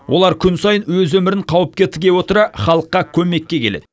олар күн сайын өз өмірін қауіпке тіге отыра халыққа көмекке келеді